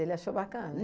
Ele achou bacana?